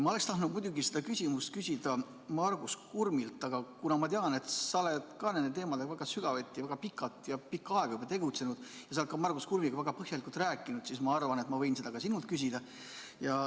Ma oleks tahtnud seda küsimust küsida Margus Kurmilt, aga kuna ma tean, et ka sina oled nende teemadega sügavuti väga pikka aega tegelenud ja oled ka Margus Kurmiga põhjalikult rääkinud, siis ma arvan, et võin seda ka sinult küsida.